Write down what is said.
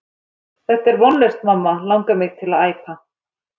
Þetta er vonlaust mamma langar mig til að æpa.